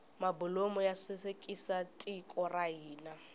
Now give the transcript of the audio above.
mabulomu ya sasekisa tiko ra hina